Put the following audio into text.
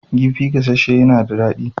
Kifi gasasshe yana da daɗi sosai.